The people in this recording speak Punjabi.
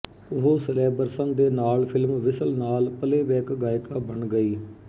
ਉਹ ਸਿਲੈਬਰਸਨ ਦੇ ਨਾਲ ਫ਼ਿਲਮ ਵਿਸਲ ਨਾਲ ਪਲੇਅਬੈਕ ਗਾਇਕਾ ਬਣ ਗਈ